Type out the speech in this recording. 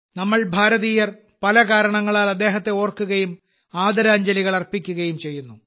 നമ്മൾ ഭാരതീയർ പല കാരണങ്ങളാൽ അദ്ദേഹത്തെ ഓർക്കുകയും ആദരാഞ്ജലികൾ അർപ്പിക്കുകയും ചെയ്യുന്നു